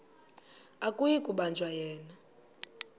akuyi kubanjwa yena